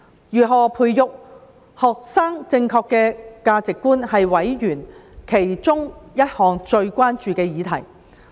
如何培育學生正確的價值觀，是委員其中一項最關注的議題。